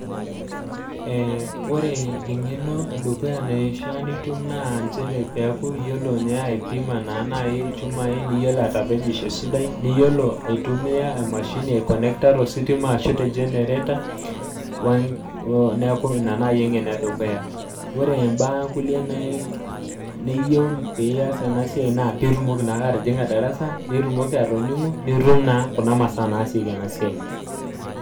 Wore engeno edukuya naishaa nitum naa nchere peaku iyiolo ninye aipima naa nai ilchumai, niyiolo atepejisho esidai, niyiolo aitumia emashini aikonekta tositima ashu te generator. Neeku inia naaji engeno edukuya, wore imbaa kulie niyieu pee ias ena siai naa pee itumoki naake atijinga darasa, nitumoki aatoningu nitum naa kuna masaa naasieki ena siai.